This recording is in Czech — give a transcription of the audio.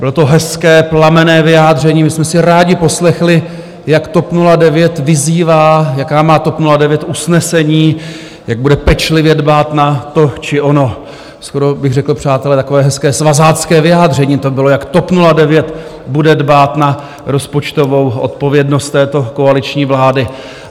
Bylo to hezké, plamenné vyjádření, my jsme si rádi poslechli, jak TOP 09 vyzývá, jaká má TOP 09 usnesení, jak bude pečlivě dbát na to či ono, skoro bych řekl, přátelé, takové hezké svazácké vyjádření to bylo, jak TOP 09 bude dbát na rozpočtovou odpovědnost této koaliční vlády.